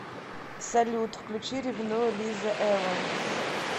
салют включи ревную лиза эванс